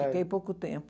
fiquei pouco tempo.